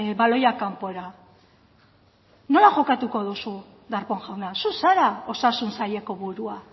baloiak kanpora nola jokatuko duzu darpón jauna zu zara osasun saileko burua